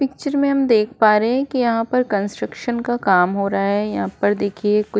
picture में हम देख प् रहे हैं की यहाँ पर कंस्ट्रक्शन का काम हो रहा है यहाँ पर देखिये कुछ --